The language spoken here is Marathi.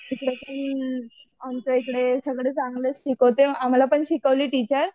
तिकडे पण आमच्या इकडे सगळे चांगले शिकवते आम्हाला पण शिकवली टीचर.